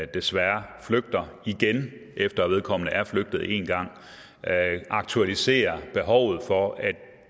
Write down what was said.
desværre flygter igen efter vedkommende er flygtet en gang aktualiserer behovet for at